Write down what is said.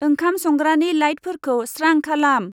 ओंखाम संग्रानि लाइटफोरखौ स्रां खालाम।